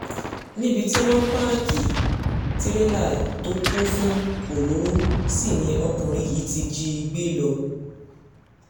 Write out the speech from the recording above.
níbi tí wọ́n páàkì tirẹ́là tó kún fún òróró sí ni ọkùnrin yìí ti jí i gbé lọ